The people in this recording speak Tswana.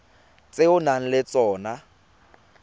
tse o nang le tsona